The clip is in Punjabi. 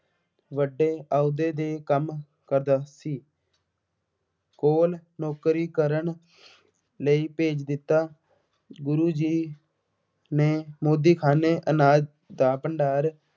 ਵੱਡੇ ਅਹੁਦੇ ਤੇ ਕੰਮ ਕਰਦਾ ਸੀ। ਕੋਲ ਨੌਕਰੀ ਕਰਨ ਲਈ ਭੇਜ ਦਿੱਤਾ। ਗੁਰੂ ਜੀ ਨੇ ਮੋਦੀਖਾਨੇ ਅਨਾਜ ਦਾ ਭੰਡਾਰ